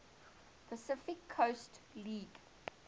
pacific coast league